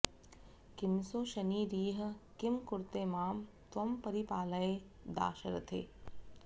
किमसौ शनिरिह किं कुरते मां त्वं परिपालय दाशरथे